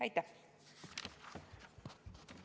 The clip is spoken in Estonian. Aitäh!